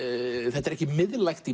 þetta er ekki miðlægt í